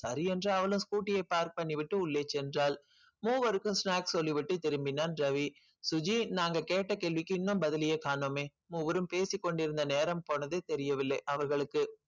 சரி என்று அவளும் scooty யை park பண்ணிவிட்டு உள்ளே சென்றாள் மூவருக்கும் snack சொல்லி விட்டு திரும்பினான் ரவி சுஜி நாங்க கேட்ட கேள்விக்கு இன்னும் பதிலயே காணோமே மூவரும் பேசிக்கொண்டிருந்த நேரம் போனது தெரியவில்லை அவர்களுக்கு